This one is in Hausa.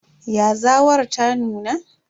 Yazawar ta nuna?